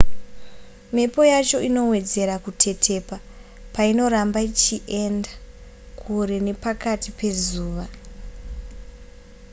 mhepo yacho inowedzera kutetepa painoramba ichienda kure nepakati pezuva